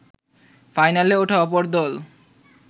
ফাইনালে ওঠা অপর দল